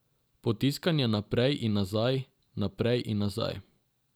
Potiskanje naprej in nazaj, naprej in nazaj ...